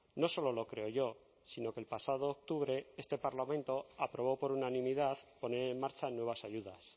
no solo lo creo yo sino que el pasado octubre este parlamento aprobó por unanimidad poner en marcha nuevas ayudas